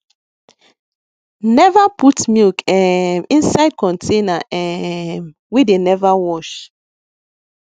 neva put milk um inside container um wey dem neva wash